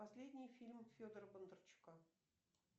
последний фильм федора бондарчука